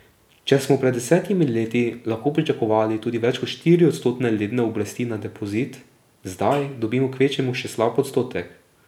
Če smo pred desetimi leti lahko pričakovali tudi več kot štiriodstotne letne obresti na depozit, zdaj dobimo kvečjemu še slab odstotek.